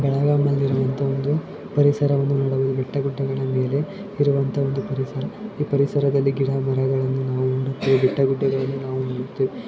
ಬೆಳಗಾಂನಲ್ಲಿ ಇರೋವಂಥ ಒಂದು ಪರಿಸರವನ್ನು ನೋಡಲು ಬೆಟ್ಟೆ ಗುಡ್ಡನ ಮೇಲೆ ಇರುವಂತ ಒಂದು ಪರಿಸರ ಈ ಪರಿಸರ ದಲ್ಲಿ ಗಿಡ ಮರಗಳನ್ನು ನಾವು ನೋಡ್ತಿದ್ದೇವೆ ಬೆಟ್ಟ ಗುಡ್ಡ ಗಳು ನಾವು ನೋಡುತ್ತಿದ್ದೇವೆ.